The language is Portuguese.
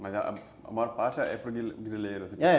Mas a a maior parte é para o grileiro, é.